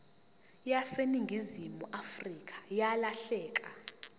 yaseningizimu afrika yalahleka